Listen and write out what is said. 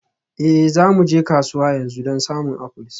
Ee, za mu je kasuwa yanzu don samun apples.